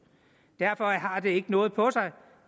det ikke noget på sig